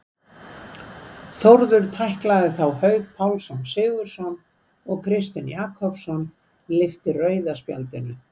Þórður tæklaði þá Hauk Pál Sigurðsson og Kristinn Jakobsson lyfti rauða spjaldinu.